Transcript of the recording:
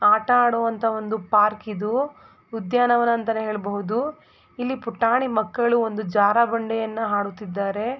ಆಟ ಆಡುವಂತ ಒಂದು ಪಾರ್ಕ್ ಇದು ಉದ್ಯಾನವನ ಅಂತಾನೇ ಹೇಳಬಹುದು ಇಲ್ಲಿ ಪುಟಾಣಿ ಮಕ್ಕಳು ಒಂದು ಜಾರಬಂಡಿಯನ್ನು ಆಡುತ್ತಿದ್ದಾರೆ.